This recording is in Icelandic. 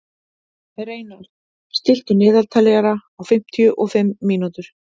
Reynarð, stilltu niðurteljara á fimmtíu og fimm mínútur.